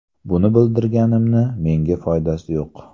Buni bildirganimni menga foydasi yo‘q.